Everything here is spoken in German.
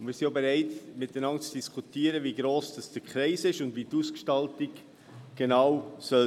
Wir sind auch bereit, miteinander zu diskutieren, wie gross der Kreis und die Ausgestaltung genau sein sollen.